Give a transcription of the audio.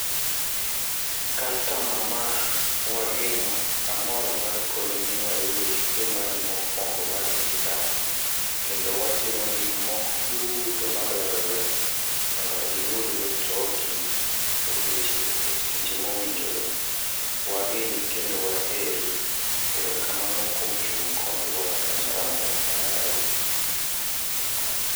Customer ma wageno, amor mar koni ni wayudo chudo mari mokwongo mar pikap, kendo watimo gik moko duto madwarore, mondo iyud mitoko e seche seche mowinjore. Wageni kendo waheri, erokamano kuom chung kodwa customer wa mawahero.